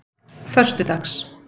föstudags